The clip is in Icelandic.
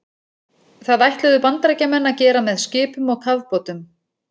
Það ætluðu Bandaríkjamenn að gera með skipum og kafbátum.